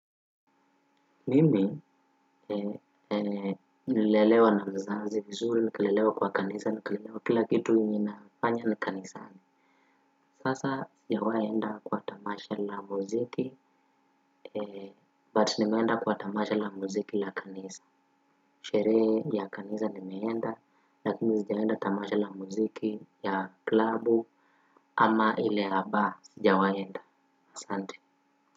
Mimi nili lelewa na mzazi vizuri, nika lelewa kwa kanisa nikelelewa kila kitu ninafanya nikanisani. Sasa sijawahi kwenda kwa tamasha la muziki, but nimeenda kwa tamasha la muziki la kanisa. Sherehe ya kanisa nimeenda, lakini sijaenda tamasha la muziki ya klabu ama ile ya bar, sijawahi kwenda. Asante.